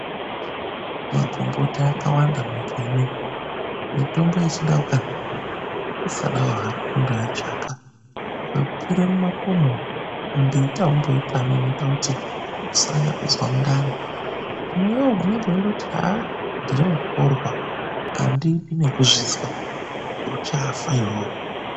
Magomboti akawanda munyika inei, mitombo yechindau kani. Kusadawo hako kundoitsvaka, ukakwire mumakomo umu mumbiti aumboitami inoita kuti usanyanya kuzwa mundani. Hino iwowe unonga weindoti ndiri mukhorwa andidi nekuzvizwa, uchafa iwowe.